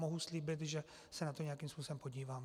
Mohu slíbit, že se na to nějakým způsobem podívám.